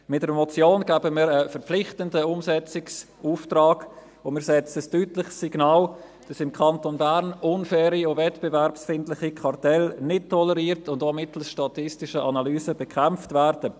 Mit einer Motion geben wir einen verpflichtenden Umsetzungsauftrag, und wir senden ein deutliches Signal aus, dass im Kanton Bern unfaire und wettbewerbsfeindliche Kartelle nicht toleriert und auch mittels statistischer Analysen bekämpft werden.